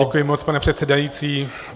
Děkuji moc, pane předsedající.